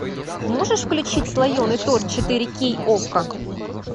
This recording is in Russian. можешь включить слоеный торт четыре кей окко